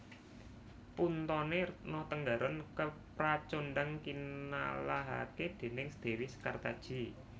Puntone Retno Tenggaron kepracondhang kinalahake déning dewi Sekartaji